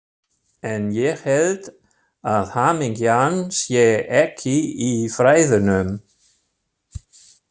En ég held að hamingjan sé ekki í fræðunum.